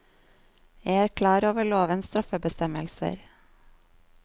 Jeg er klar over lovens straffebestemmelser.